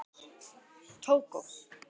Tógó